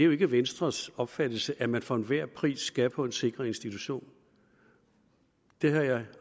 jo ikke er venstres opfattelse at man for enhver pris skal på en sikret institution det har jeg